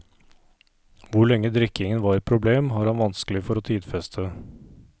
Hvor lenge drikkingen var et problem, har han vanskelig for å tidfeste.